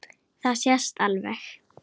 Það sést alveg.